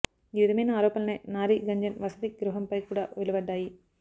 ఈ విధమైన ఆరోపణలే నారీ గుంజన్ వసతి గృహంపై కూడా వెలువడ్డాయి